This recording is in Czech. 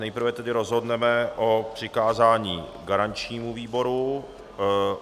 Nejprve tedy rozhodneme o přikázání garančnímu výboru.